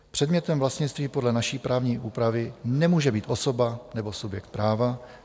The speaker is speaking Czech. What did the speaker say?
Předmětem vlastnictví podle naší právní úpravy nemůže být osoba nebo subjekt práva.